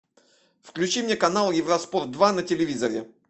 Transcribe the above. включи мне канал евроспорт два на телевизоре